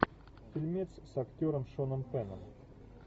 фильмец с актером шоном пенном